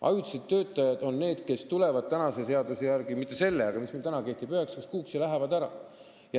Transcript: Ajutised töötajad on need, kes tulevad tänase seaduse järgi – mitte selle eelnõu järgi, aga selle seaduse järgi, mis meil täna kehtib – üheksaks kuuks ja lähevad siis ära.